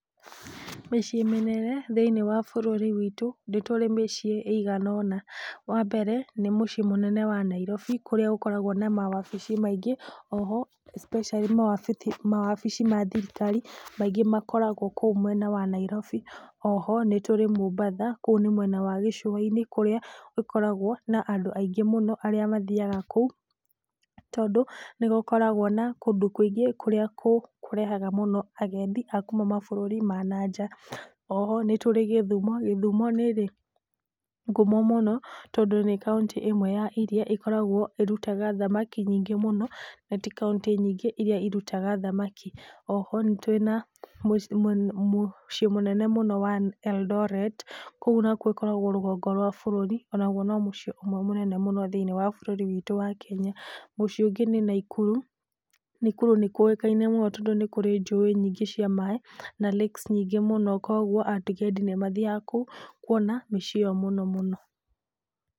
Mĩciĩ mĩnene thĩiniĩ wa bũrũri witũ, nĩtũrĩ mĩciĩ ĩgana ona, wa mbere nĩ mũciĩ mũnene wa Nairobi kũrĩa gũkoragwo na mawabici maingĩ, oho especially mawabithi mawabici mathikari makoragwo kũu mwena wa Nairobi , oho nĩtũrĩ Mombatha kũu mwena gĩcũa-inĩ kũrĩa gũkoragwo na andũ aingĩ mũno arĩa mathiaga kũu, tondũ nĩgũkoragwo na kũndũ kũingĩ kũrĩa kũrehaga mũno agendi akuma mabũrũri ma na nja, oho nĩtũrĩ Gĩthumo, Gĩthumo nĩ ĩrĩ ngũmo mũno tondũ nĩ kaunti ĩrĩa ĩkoragwo ĩkĩruta thamaki nyingĩ mũno, nati kauntĩ nyingĩ iria irutaga thamaki, oho nĩtũrĩ na mũ ,mũciĩ mũnene wa Eldoret, kũu nakwo ĩkoragwo rũgongo wa bũrũri, onagwo no mũciĩ ũmwe mũnene thĩiniĩ wa bũrũri witũ wa Kenya, mũciĩ ũngĩ nĩ Naikuru, Naikuru nĩkũĩkaine mũno tondũ nĩkũrĩ njũĩ nyingĩ cia maaĩ na lakes nyingĩ mũno, kũgwo agendi nĩ mathiaga kũu kuona mĩciĩ ĩyo mũnomũno.